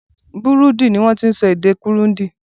Burundi ni wọ́n ti ń sọ èdè Kurundi.